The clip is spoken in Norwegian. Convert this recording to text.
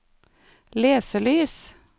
leselys